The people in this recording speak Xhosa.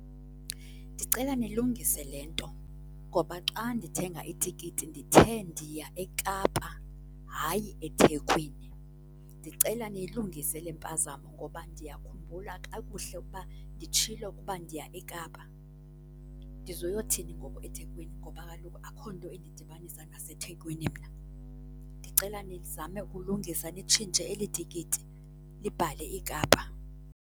Ndicela nilungise le nto ngoba xa ndithenga itikiti ndithe ndiya eKapa, hayi eThekwini. Ndicela niyilungise le mpazamo ngoba ndiyakhumbula kakuhle ukuba nditshilo ukuba ndiya eKapa. Ndizoyothini ngoku eThekwini ngoba kaloku akho nto indidibanisa naseThekwini mna. Ndicela nizame ukulungisa nditshintshe eli tikiti libhale iKapa.